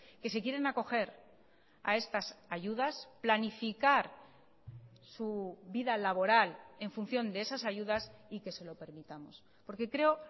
que se quieren acoger a estas ayudas planificar su vida laboral en función de esas ayudas y que se lo permitamos porque creo